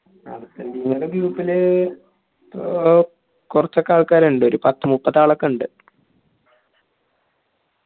ആർജന്റീനയുടെ group ൽ അഹ് കോർച്ച് ഒക്കെആൾക്കാറുണ്ട് ഒരു പത്ത് മുപ്പത് ആളൊക്കെയുണ്ട്